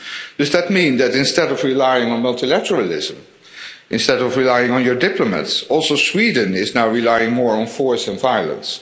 Does that mean that, instead of relying on multilateralism, instead of relying on your diplomats, also Sweden is now relying more on force and violence?